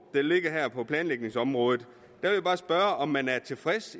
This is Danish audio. der ligger her på planlægningsområdet spørge om man er tilfreds